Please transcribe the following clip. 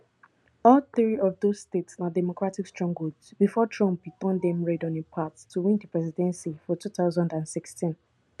all three of dose states na democratic strongholds bifor trump bin turn dem red on im path to win di presidency for two thousand and sixteen